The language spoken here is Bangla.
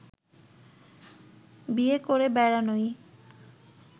বিয়ে করে বেড়ানোই